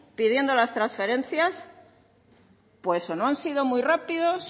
pidiendo las transferencias pues o no han sido muy rápidos